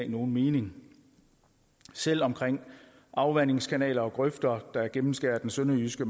nogen mening selv omkring afvandingskanaler og grøfter der gennemskærer den sønderjyske